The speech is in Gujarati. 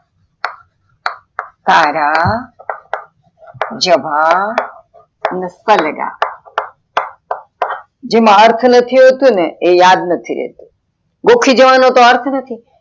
સારા જભા ને સલડા જેમાં અર્થ નથી હોતું ને એ યાદ નથી રેતુ ગોખીજવાનો તો અર્થ નથી